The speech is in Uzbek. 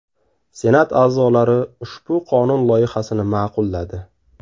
Senat a’zolari ushbu qonun loyihasini ma’qulladi.